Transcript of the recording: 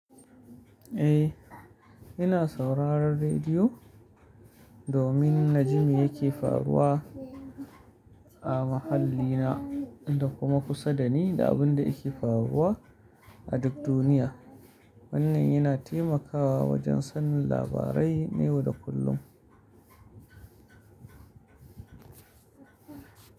Eh, ina sauraron rediyo domin naji me yake faruwa a mahallina da kuma kusa da ni da abin da yake faruwa a duk duniya. Wannan yana taimakawa wajen sanin labarai na yau da kullum.